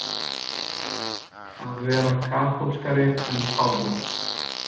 Að vera kaþólskari en páfinn